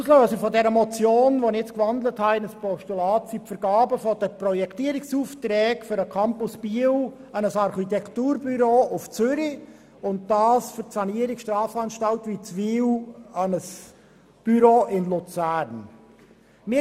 Auslöser für die jetzt in ein Postulat gewandelte Motion sind die Vergaben der Projektierungsaufträge für den Campus Biel an ein Architekturbüro in Zürich sowie für die Sanierung der Strafanstalt Witzwil an ein Luzerner Büro.